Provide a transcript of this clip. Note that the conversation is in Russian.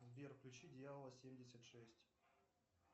сбер включи дьявола семьдесят шесть